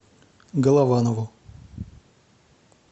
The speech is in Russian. голованову